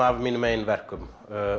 af mínum eigin verkum